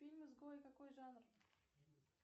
фильм изгой какой жанр